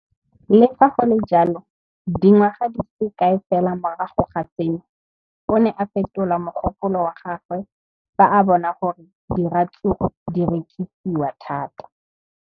Le fa go le jalo, dingwaga di se kae fela morago ga seno, o ne a fetola mogopolo wa gagwe fa a bona gore diratsuru di rekisiwa thata.